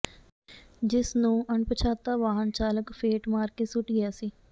ਜਿਸ ਨੂੰ ਅਣਪਛਾਤਾ ਵਾਹਨ ਚਾਲਕ ਫੇਟ ਮਾਰ ਕੇ ਸੁੱਟ ਗਿਆ ਸੀ